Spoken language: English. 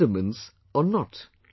Vitamins or not